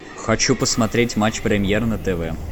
хочу посмотреть матч премьер на тв